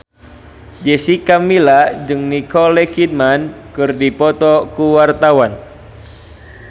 Jessica Milla jeung Nicole Kidman keur dipoto ku wartawan